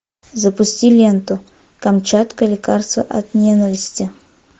запусти ленту камчатка лекарство от ненависти